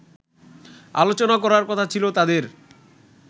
আলোচনা করার কথা ছিল তাদের